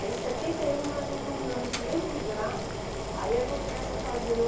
Aí em setenta e um nós retornamos para o mesmo lugar, aí é que eu começo a fazer o...